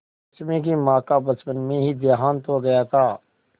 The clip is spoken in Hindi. रश्मि की माँ का बचपन में ही देहांत हो गया था